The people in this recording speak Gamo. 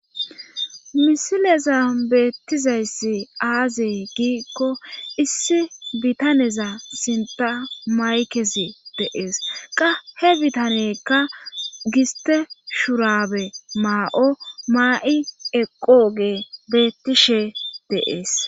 Milezan betizay aze gikko issi bitaneza sinthan makezi betishe de'es he bitanneyka giste shurabe may'o mayi eqogoy betishe de'es